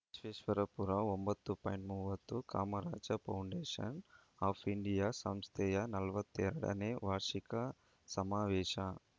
ವಿಶ್ವೇಶ್ವರಪುರ ಒಂಬತ್ತು ಪಾಯಿಂಟ್ ಮೂವತ್ತು Kamaraja Foundation of India ಸಂಸ್ಥೆಯ ನಲವತ್ತೆಡನೇ ವಾರ್ಷಿಕ ಸಮಾವೇಶ